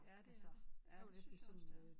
Ja det er det ja det synes jeg også det er